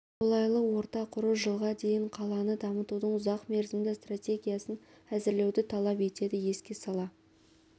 қолайлы орта құру жылға дейін қаланы дамытудың ұзақ мерзімді стратегиясын әзірлеуді талап етеді еске сала